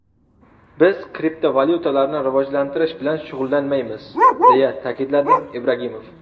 Biz kriptovalyutalarni rivojlantirish bilan shug‘ullanmaymiz”, deya ta’kidladi Ibragimov.